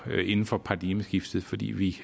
inden for paradigmeskiftet fordi vi